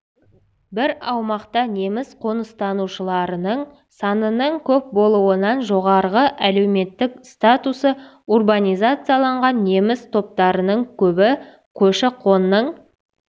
бір аумақта неміс қоныстанушыларының санының көп болуынан жоғарғы әлеуметтік статусы урбанизацияланған неміс топтарының көбі көші-қонның